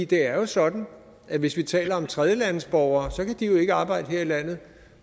det er jo sådan at hvis vi taler om tredjelandes borgere så kan de jo ikke arbejde her i landet